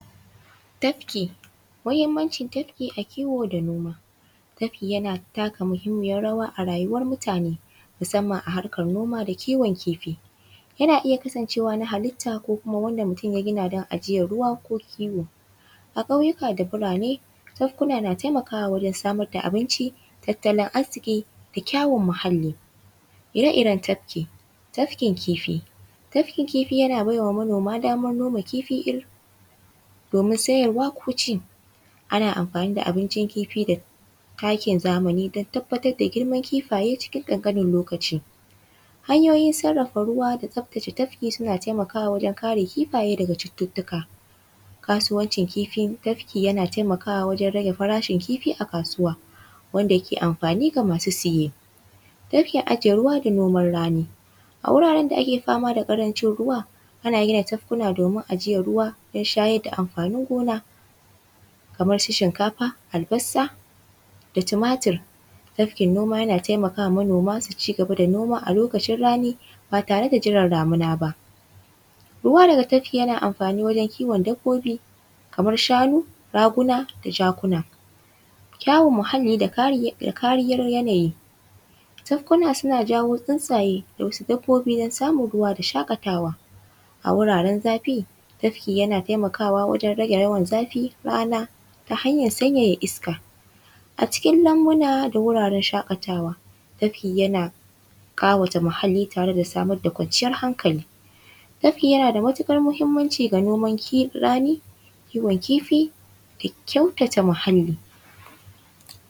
Tafki. Muhimmancin tafki a kiwo da naoma. Tafki yana taka muhimmiyar rawa a rayuwar mutane musamman a harkar noma da kiwon kifi. Yana iya kasancewa na halitta ko kuma wanda mutum ya gina don ajiyar ruwa ko kiwo. A ƙauyuka da birane, tafkuna na taimakawa wurin samar da abinci, tattalin arziƙi da kyawun muhalli. Ire-iren tafki: tafkin kifi:- tafkin kifi yana bai wa manoma damar noma kifi domin siyarwa ko ci. Ana amfani da abincin kifi da takin zamani don tabbatar da girman kifaye cikin ƙanƙanin lokaci. Hanyoyin tsaftace ruwa da tafki suna taimakawa wajen kare kifaye daga cututtuka. Kasuwancin kifin tafki yana taimakawa wajen rage farashin kifi a kasuwa, wanda ke amfani ga masu saye. Tafkin ajiye ruwa da noman rani:- a wuraren da ake fama da ƙarancin ruwa, ana gina tafkuna domin ajiyar ruwa, shayar da amfani gona kamar su shinkafa, albasa da tumatur. Tafkin noma yana taimaka wa manoma su ci gaba da noma a lokacin rani ba tare da jiran damina ba. Ruwa daga tafki yana amfani wajen kiwon dabbobi kamar shanu, raguna da jakuna. Kare muhalli da kariyar yanayi: tafkuna suna jawo tsuntsaye da wasu dabbobi don samun shaƙatawa. A wuraren zafi, tafki yana taimakawa wajen rage yawan zafi, rana ta hanyar sanyaya iska a cikin almbuna da wuraren shaƙatawa, tafki yana ƙawata muhalli tare da samar da wanciyar hankali. Tafki yana da matuƙar muhimmanci ga noman rani, kiwon kifi da kyautata muhalli.